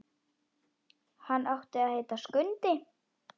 Hann átti að heita Skundi.